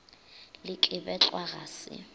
le ke betlwa ga se